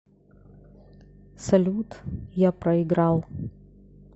салют я проиграл